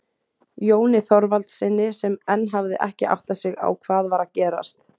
Jóni Þorvaldssyni sem enn hafði ekki áttað sig á hvað var að gerast.